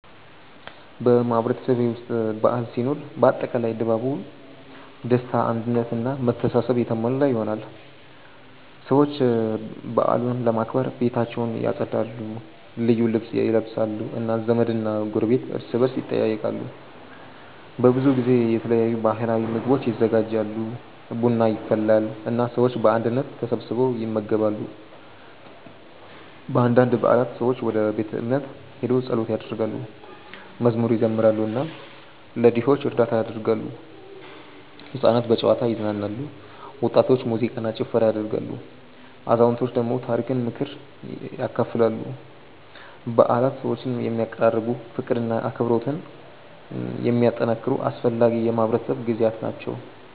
በማህበረሰቤ ውስጥ በዓል ሲኖር አጠቃላይ ድባቡ ደስታ አንድነት እና መተሳሰብ የተሞላ ይሆናል። ሰዎች በዓሉን ለማክበር ቤታቸውን ያጸዳሉ፣ ልዩ ልብስ ይለብሳሉ እና ዘመድና ጎረቤት እርስ በርስ ይጠያየቃሉ። በብዙ ጊዜ የተለያዩ ባህላዊ ምግቦች ይዘጋጃሉ፣ ቡና ይፈላል እና ሰዎች በአንድነት ተሰብስበው ይመገባሉ። በአንዳንድ በዓላት ሰዎች ወደ ቤተ እምነት ሄደው ጸሎት ያደርጋሉ፣ መዝሙር ይዘምራሉ እና ለድሆች እርዳታ ያደርጋሉ። ሕፃናት በጨዋታ ይዝናናሉ፣ ወጣቶች ሙዚቃ እና ጭፈራ ያደርጋሉ፣ አዛውንቶች ደግሞ ታሪክና ምክር ያካፍላሉ። በዓላት ሰዎችን የሚያቀራርቡ፣ ፍቅርና አብሮነትን የሚያጠናክሩ አስፈላጊ የማህበረሰብ ጊዜያት ናቸው።